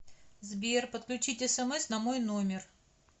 сбер подключить смс на мой номер